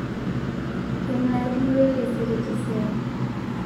kengae atumore taisere tesiai